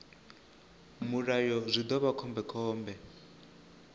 mulayo zwi ḓo vha khombekhombe